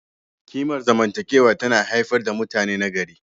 Kimar zamantakewa tana haifar da mutane nagari.